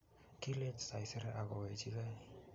kilech saiseree ak kowechike